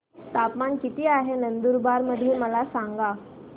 तापमान किता आहे नंदुरबार मध्ये मला सांगा